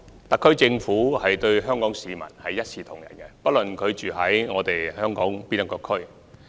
特區政府對香港市民一視同仁，不論他們在香港哪個地區居住。